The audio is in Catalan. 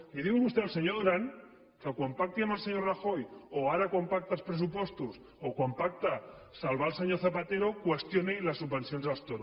li diu vostè al senyor duran que quan pacti amb el senyor rajoy o ara quan pacta els pressupostos o quan pacta salvar el senyor zapatero qüestioni les subvencions als toros